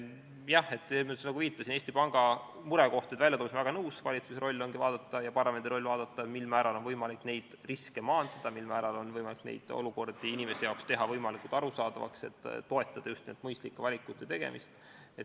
Jah, nagu ma viitasin, Eesti Panga murekohtade väljatoomisega olen väga nõus, valitsuse ja parlamendi roll ongi vaadata, mil määral on võimalik riske maandada, mil määral on võimalik neid olukordi inimesele teha võimalikult arusaadavaks, et toetada just mõistlike valikute tegemist.